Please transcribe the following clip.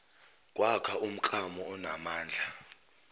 kwakha umklamo onamandla